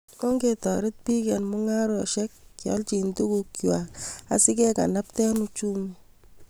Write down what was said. Ongetorit bik an mengaresiek kealchi tukuk kwai asikekalbte uchumi